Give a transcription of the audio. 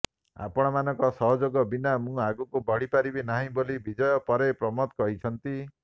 ଅପଣମାନଙ୍କ ସହଯୋଗ ବିନା ମୁଁ ଆଗକୁ ବଢ଼ି ପାରିବି ନାହିଁ ବୋଲି ବିଜୟ ପରେ ପ୍ରମୋଦ କହିଛନ୍ତି